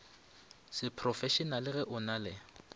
seprofešenale ge o na le